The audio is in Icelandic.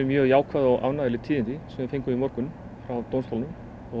mjög jákvæð og ánægjuleg tíðindi sem við fengum í morgun frá dómstólnum